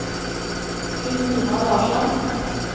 Christina Larsson